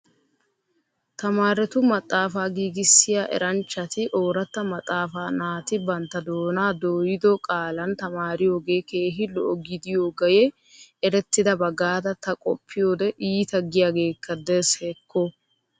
Tamaretu maxxaafa giigissiya erranchchati oorata maxxaafa naatti bantta doonaa dooyido qaalan tamaariyooge keehi lo'o gidiyoogee eretidaba gaada ta qoppiyoode iitta giyaagekka de'es hekko?